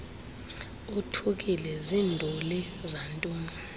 othukile zinduli zantoni